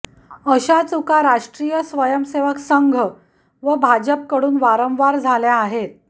अशा चुका राष्ट्रीय स्वयंसेवक संघ व भाजपकडून वारंवार झाल्या आहेत